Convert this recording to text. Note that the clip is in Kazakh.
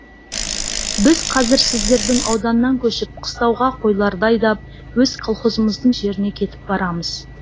біз қазір сіздердің ауданнан көшіп қыстауға қойларды айдап өз колхозымыздың жеріне кетіп барамыз